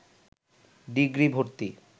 degree ভর্তি